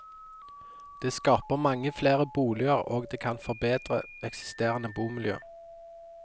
Det skaper mange flere boliger og det kan kan forbedre eksisterende bomiljø.